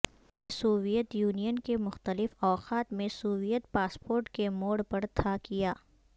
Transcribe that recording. یہ Soviet Union کے مختلف اوقات میں سوویت پاسپورٹ کے موڑ پر تھا کیا